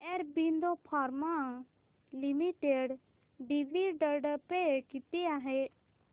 Aurobindo Pharma Limited dividend pay किती आहे